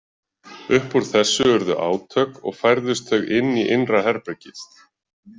Upp úr þessu urðu átök og færðust þau inn í innra herbergið.